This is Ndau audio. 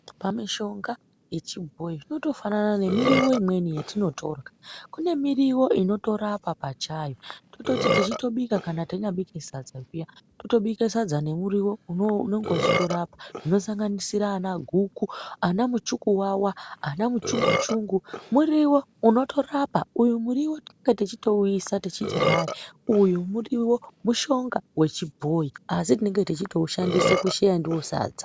Pamushonga yechibhoyi inotofanana nemuriwo imweni yatinorya .kune Muriwo inotorapa pachayo tototi tichitonyabika kana tanyabika sadza zviyani totobika sadza nemuriwo unenge uchitorapa zvinosanganisira ana guku ana muchukuvava ana muchunguchungu muriwo unotorapa uyu muriwo tinenge tichitouisa tichiti hai uyu muriwo mushonga wechibhoyi ASI tinenge tichitoushandisa kusheya ndiwo sadza.